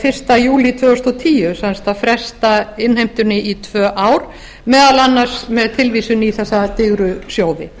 fyrsta júlí tvö þúsund og tíu sem sagt að fresta innheimtunni um tvö ár meðal annars með tilvísun í þessa digru sjóði